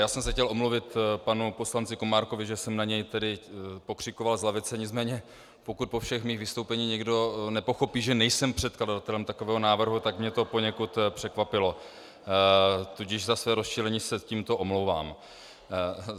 Já jsem se chtěl omluvit panu poslanci Komárkovi, že jsem na něj tedy pokřikoval z lavice, nicméně pokud po všech mých vystoupeních někdo nepochopí, že nejsem předkladatelem takového návrhu, tak mě to poněkud překvapilo, tudíž za své rozčilení se tímto omlouvám.